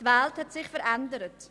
Die Welt hat sich verändert.